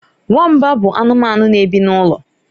Nwamba bụ anụmanụ na-ebi n'ụlọ.